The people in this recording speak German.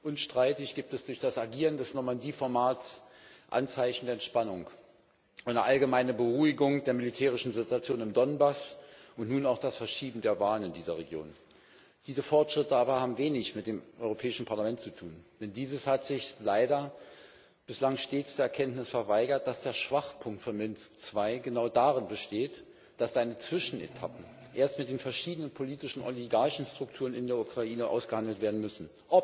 Unstreitig gibt es durch das Agieren des Normandie Formats Anzeichen der Entspannung, eine allgemeine Beruhigung der militärischen Situation im Donbass und nun auch das Verschieben der Wahlen in dieser Region. Diese Fortschritte haben aber wenig mit dem Europäischen Parlament zu tun, denn dieses hat sich leider bislang stets der Erkenntnis verweigert, dass der Schwachpunkt von Minsk II genau darin besteht, dass seine Zwischenetappen erst mit den verschiedenen politischen Oligarchenstrukturen in der Ukraine ausgehandelt werden müssen.